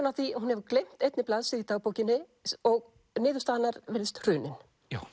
að því að hún hefur gleymt einni blaðsíðu í dagbókinni og niðurstaða hennar virðist hrunin